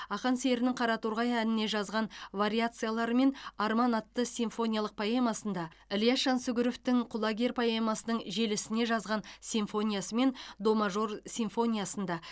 ақан серінің қараторғай әніне жазған вариациялары мен арман атты симфониялық поэмасында ілияс жансүгіровтің құлагер поэмасының желісіне жазған симфониясы мен до мажор симфониясында